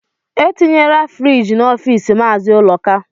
Etinyela friiji n'office Mazi Uloka